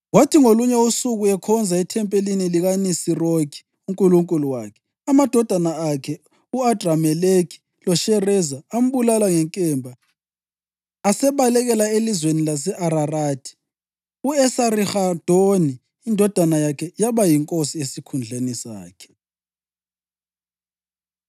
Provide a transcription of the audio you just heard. Kwathi ngolunye usuku ekhonza ethempelini likaNisirokhi unkulunkulu wakhe, amadodana akhe u-Adrameleki loShareza ambulala ngenkemba asebalekela elizweni lase-Ararathi. U-Esarihadoni indodana yakhe yaba yinkosi esikhundleni sakhe.